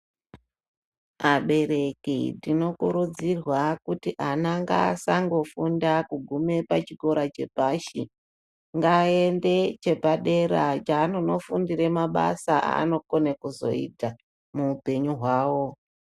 Abeteki tinokurudzirwa kuti ana ngasangofunda kuguma pachikora chepashi. Ngaende chepadera chanonofundire mabasa anokone kuzoita muupenyu hwavo.